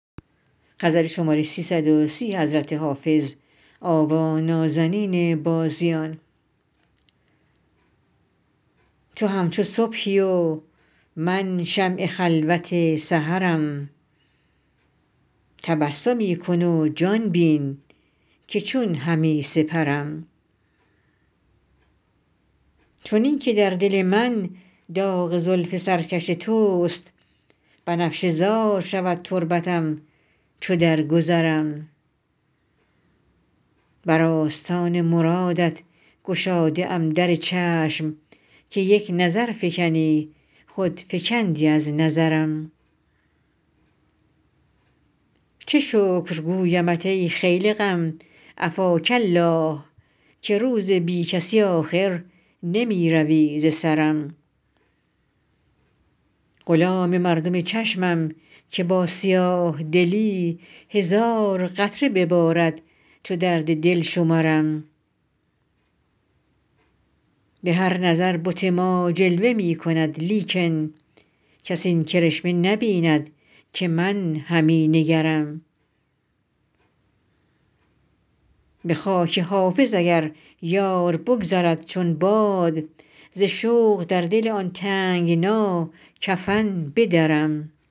تو همچو صبحی و من شمع خلوت سحرم تبسمی کن و جان بین که چون همی سپرم چنین که در دل من داغ زلف سرکش توست بنفشه زار شود تربتم چو درگذرم بر آستان مرادت گشاده ام در چشم که یک نظر فکنی خود فکندی از نظرم چه شکر گویمت ای خیل غم عفاک الله که روز بی کسی آخر نمی روی ز سرم غلام مردم چشمم که با سیاه دلی هزار قطره ببارد چو درد دل شمرم به هر نظر بت ما جلوه می کند لیکن کس این کرشمه نبیند که من همی نگرم به خاک حافظ اگر یار بگذرد چون باد ز شوق در دل آن تنگنا کفن بدرم